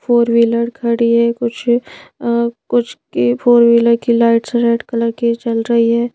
Four wheeler खड़ी है कुछ कुछ की फोर व्हीलर की लाइट्स रेड कलर की जल रही है।